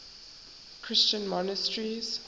christian monasteries